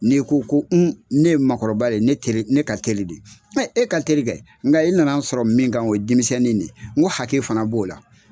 Ni ko ko un ne ye makɔrɔba de ye ne kere ne ka kɛli de ye mɛ e ka teri kɛ nga e nana n sɔrɔ min kan o ye demisɛnni de ye n ko hakɛ fana b'o la